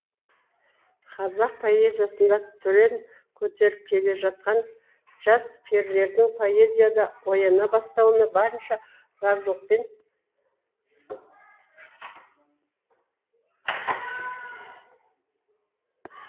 қазақ поэзиясында түрен көтеріп келе жатқан жас перілердің поэзияда ояна бастауына барынша разылықпен